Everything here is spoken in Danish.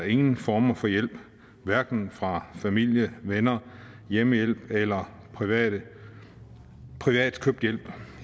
ingen former for hjælp hverken fra familie venner hjemmehjælp eller privat privat købt hjælp